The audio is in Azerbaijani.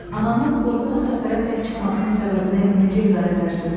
Ananın qorxulu səfərə tək çıxmasının səbəbini necə izah edərsiniz?